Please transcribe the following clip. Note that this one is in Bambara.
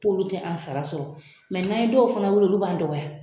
K'olu tɛ an sara sɔrɔ, mɛ n' an ye dɔw fana wele, olu b'an dɔgɔya!